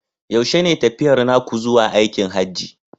Yaushe ne tafiyar naku zuwa aikin Hajji?